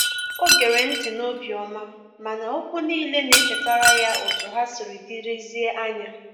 o gere nti n'obioma, mana okwu nile na echetara ya otu ha siri dirizie anya.